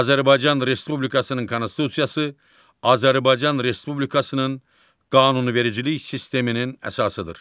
Azərbaycan Respublikasının Konstitusiyası Azərbaycan Respublikasının qanunvericilik sisteminin əsasıdır.